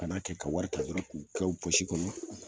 Kana kɛ ka wari ta dɔrɔ k'u kɛ u kɔnɔ.